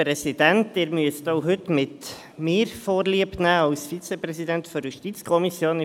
Sie müssen heute mit mir als Vizepräsidenten der JuKo vorliebnehmen.